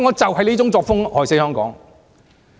這種作風害死香港。